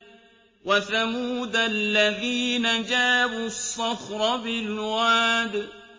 وَثَمُودَ الَّذِينَ جَابُوا الصَّخْرَ بِالْوَادِ